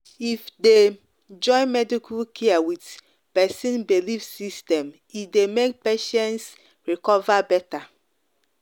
if dey join medical care with person belief system e dey make patients recover better.